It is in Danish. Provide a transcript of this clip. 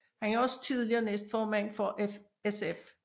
Han er også tidligere næstformand for SF